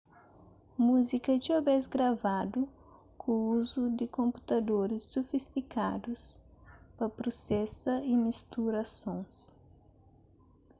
múzika é txeu bês gravadu ku uzu di konputadoris sufistikadus pa prusesa y mistura sons